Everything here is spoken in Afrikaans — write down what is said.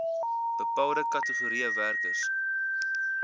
bepaalde kategorieë werkers